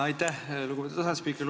Aitäh, lugupeetud asespiiker!